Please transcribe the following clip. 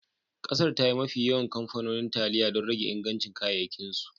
Kasar, ta yi mafi yawan kamfanonin taliya don rage ingancin kayayyakinsu